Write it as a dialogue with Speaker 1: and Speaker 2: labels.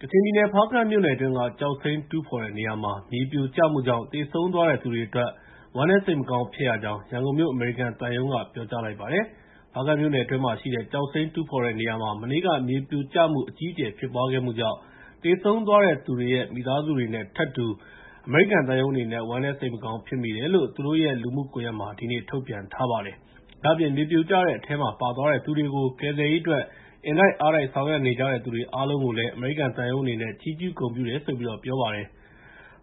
Speaker 1: ကချင်ပြည်နယ် ဖားကန့်မြို့နယ်အတွင်းက ကျောက်စိမ်းတူးဖော်တဲ့နေရာမှာ မြေပြိုကျမှုကြောင့် သေဆုံးသွားတဲ့သူတွေအတွက် ဝမ်းနည်း စိတ်မကောင်းဖြစ်ရကြောင်း ရန်ကုန်မြို့ အမေရိကန်သံရုံးက ပြောကြားလိုက်ပါတယ်။ ဖားကန့်မြို့နယ်တွင်းမှာ ရှိတဲ့ ကျောက်စိမ်းတူးဖော်တဲ့နေရာမှာ မနေ့က မြေပြိုကျမှု အကြီးအကျယ်ဖြစ်ပွားခဲ့မှုကြောင့် သေဆုံးသွားတဲ့သူတွေရဲ့ မိသားစုတွေနဲ့ထပ်တူ အမေရိကန်သံရုံးအနေနဲ့ ဝမ်းနည်းစိတ်မကောင်း ဖြစ်မိတယ်လို့ သူတို့ရဲ့ လူမှုကွန်ရက်မှာ ဒီကနေ့ ထုတ်ပြန်ထားပါတယ်။ ဒါ့အပြင် မြေပြိုကျတဲ့အထဲမှာပါသွားတဲ့သူတွေကို ကယ်ဆယ်ရေးအတွက် အင်တိုက်အားတိုက် ဆောင်ရွက်ကြတဲ့သူတွေအားလုံးကိုလည်း အမေရိကန်သံရုံးအနေနဲ့ ချီးကျူးဂုဏ်ပြုတယ်လို့ ပြောကြားလိုက်ပါတယ်။